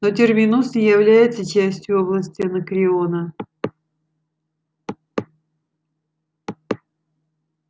но терминус не является частью области анакреона